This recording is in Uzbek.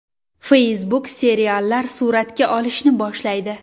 Facebook seriallar suratga olishni boshlaydi.